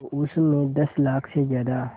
तो उस में दस लाख से ज़्यादा